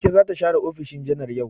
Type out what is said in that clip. Ita za ta share ofishin janar yau.